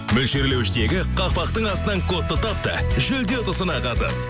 мөлшерлеуіштегі қақпақтың астынан кодты тап та жүлде ұтысына қатыс